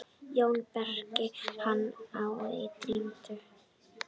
JÓN BEYKIR: Hann er týndur!